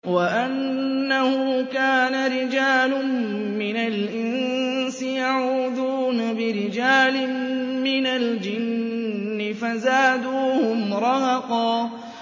وَأَنَّهُ كَانَ رِجَالٌ مِّنَ الْإِنسِ يَعُوذُونَ بِرِجَالٍ مِّنَ الْجِنِّ فَزَادُوهُمْ رَهَقًا